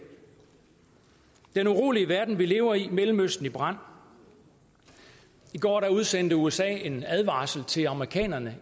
er en urolig verden vi lever i mellemøsten er i brand i går udsendte usa en advarsel til amerikanerne